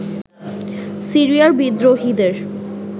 সিরিয়ার বিদ্রোহীদের